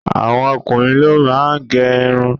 Àwọn okunrin ló máa ń gẹ́ ìrún